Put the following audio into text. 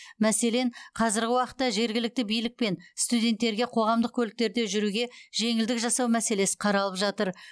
мәселен қазіргі уақытта жергілікті билікпен студенттерге қоғамдық көліктерде жүруге жеңілдік жасау мәселесі қаралып жатыр